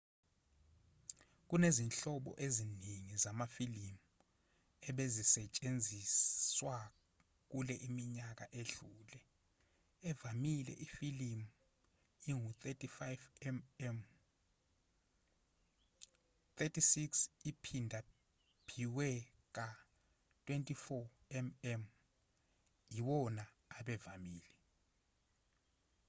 kunezinhlobo eziningi zamafilimu ebezisentshenziswa kule minyaka edlule. evamile ifilimu ingu-35 mm 36 uphindaphiwe ka-24 mm iwona abevamile